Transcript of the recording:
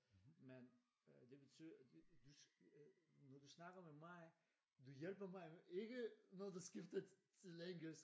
Men øh det betyder du når du snakker med mig du hjælper mig jo ikke når du skifter til engelsk